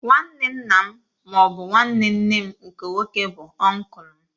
Nwanne nna m ma ọ bụ nwanne nne m nke nwoke bụ ọnklu m